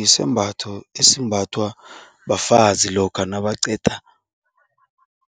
yisembatho esembathwa bafazi lokha nabaqeda